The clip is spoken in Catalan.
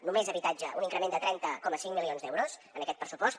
només habitatge un increment de trenta coma cinc milions d’euros en aquest pressupost